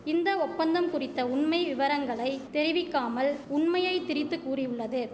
இந்த ஒப்பந்தம் குறித்த உண்மை விவரங்களை தெரிவிக்காமல் உண்மையை திரித்து கூறியுள்ளது